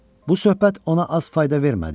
Bu söhbət ona az fayda vermədi.